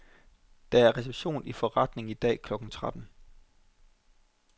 Der er reception i forretningen i dag klokken tretten.